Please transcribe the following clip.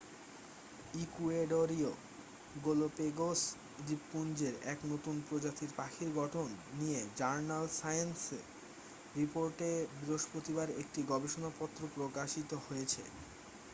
ইকুয়েডরীয় Galapagos দ্বীপপুঞ্জের এক নতুন প্রজাতির পাখির গঠন নিয়ে জার্নাল সায়েন্স রিপোর্টে বৃহস্পতিবার একটি গবেষণাপত্র প্রকাশিত হয়েছে